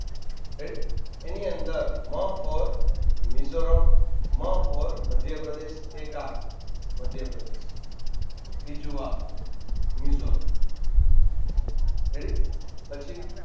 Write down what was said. ready એની અંદર મ for Mizoram મ for મધ્યપ્રદેશ એક આ મધ્યપ્રદેશ બીજું આ મિઝોરમ ready પછી